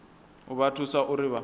u vha thusa uri vha